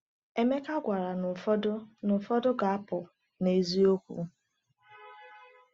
Emeka gwara na ụfọdụ na ụfọdụ ga-apụ n’eziokwu.